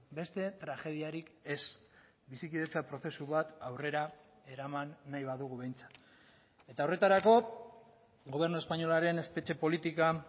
beste tragediarik ez bizikidetza prozesu bat aurrera eraman nahi badugu behintzat eta horretarako gobernu espainolaren espetxe politika